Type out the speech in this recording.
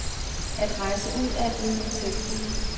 At rejse ud er blevet en selvfølge.